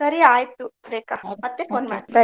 ಸರಿ ಆಯ್ತು Rekha phone Bye .